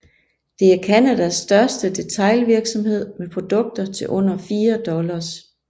Det er Canadas største detailvirksomhed med produkter til under fire dollars